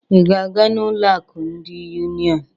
Ị ga-aga n'ụlọ akụ ndị Union?